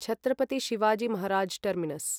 Chhatrapati Shivaji Maharaj terminus